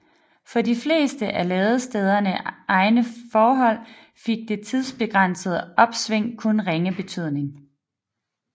For de fleste af ladestederne egne forhold fik dette tidsbegrænsede opsving kun ringe betydning